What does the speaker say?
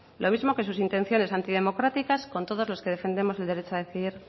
lo mismo que sus intenciones antidemocráticas con todos los que defendemos el derecho a decidir